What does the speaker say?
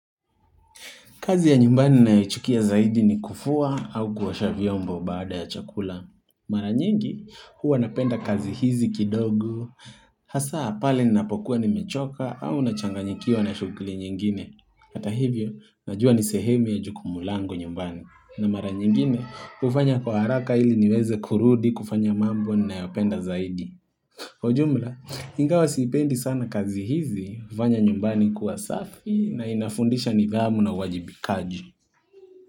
Kazi ya nyumbani ninayoichukia zaidi ni kufua au kuosha vyombo baada ya chakula. Mara nyingi huwa napenda kazi hizi kidogo, hasa pale ninapokuwa nimechoka au nachanganyikiwa na shughli nyingine. Hata hivyo, najua ni sehemu ya jukumu langu nyumbani na mara nyingine ufanya kwa haraka ili niweze kurudi kufanya mambo nayopenda zaidi. Kwa jumla, ingawa siipendi sana kazi hizi hufanya nyumbani kuwa safi na inafundisha nidhamu na uajibikaji.